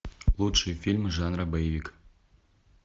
лучшие фильмы жанра боевик